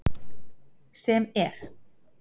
sem er.